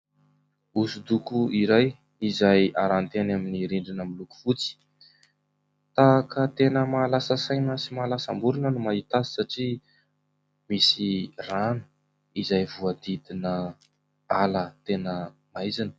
Hosodoko iray izay aranty eny amin'ny rindrina miloko fotsy. Tahaka ny tena mahalasa saina sy mahalasam-borona no mahita azy satria misy rano izay voahodidina ala tena maizina.